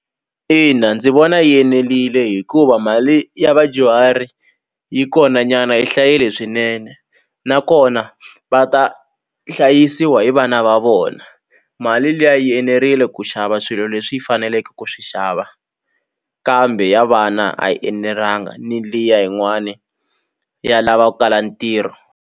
Ina ndzi vona yi enelile hikuva mali ya vadyuhari yi kona nyana yi hlayile swinene nakona va ta hlayisiwa hi vana va vona mali liya yi enerile ku xava swilo leswi yi faneleke ku swi xava kambe ya vana a yi enelanga ni liya yin'wani ya lava ku kala ntirho.